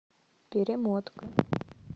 перемотка